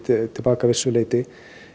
til baka að vissu leyti